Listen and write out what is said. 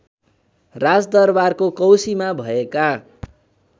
राजदरबारको कौसीमा भएका